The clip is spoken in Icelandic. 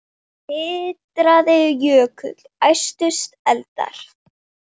Titraði jökull, æstust eldar